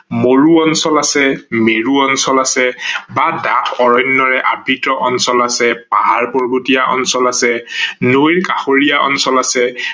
মৰু অঞ্চল আছে, মেৰু অঞ্চল আছে বা ডাঠ অৰণ্যৰে আবৃত্ত অঞ্চল আছে, পাহাৰ-পৰ্বতীয়া অঞ্চল আছে, নৈৰ কাষৰীয়া অঞ্চল আছে